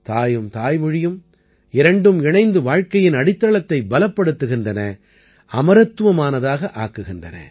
தாயும் தாய்மொழியும் இரண்டும் இணைந்து வாழ்க்கையின் அடித்தளத்தைப் பலப்படுத்துகின்றன அமரத்துவமானதாக ஆக்குகின்றன